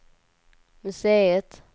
museet